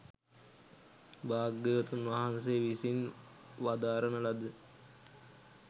භාග්‍යවතුන් වහන්සේ විසින් වදාරණ ලද